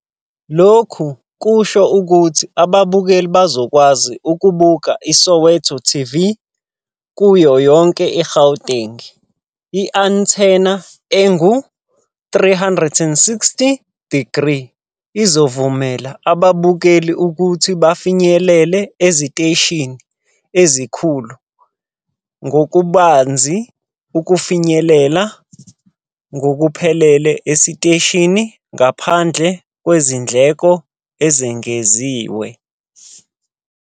Lokhu kusho ukuthi ababukeli bazokwazi ukubuka iSoweto TV kuyo yonke iGauteng. I-antenna engu-360-degree izovumela ababukeli ukuthi bafinyelele esiteshini esikhulu ngokubanzi ukufinyelela ngokuphelele esiteshini ngaphandle kwezindleko ezengeziwe.